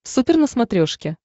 супер на смотрешке